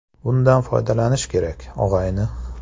Bundan foydalanish kerak, og‘ayni!